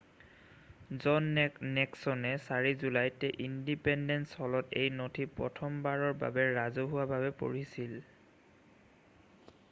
জন নিক্সনে 8 জুলাইত ইনডিপেণ্ডেন্স হলত এই নথি প্ৰথমবাৰৰ বাবে ৰাজহুৱাভাৱে পঢ়িছিল